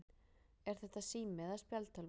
Er þetta sími eða spjaldtölva?